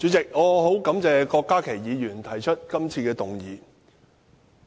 主席，我十分感謝郭家麒議員提出今次的議案。